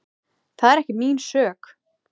Það er ekki mín sök.